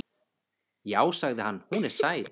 Já, sagði hann, hún er sæt.